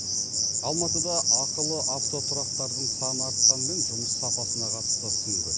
алматыда ақылы автотұрақтардың саны артқанымен жұмыс сапасына қатысты сын көп